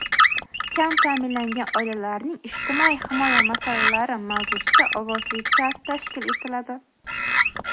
"Kam ta’minlangan oilalarning ijtimoiy himoya masalalari" mavzusida ovozli chat tashkil etiladi!.